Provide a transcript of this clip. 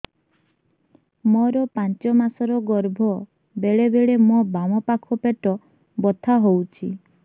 ମୋର ପାଞ୍ଚ ମାସ ର ଗର୍ଭ ବେଳେ ବେଳେ ମୋ ବାମ ପାଖ ପେଟ ବଥା ହଉଛି